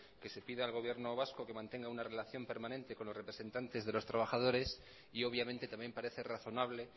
que se pida al gobierno vasco que mantenga una relación permanente con los representantes de los trabajadores y obviamente también parece razonable